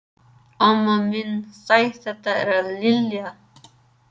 Amma mín, sæl þetta er Lilla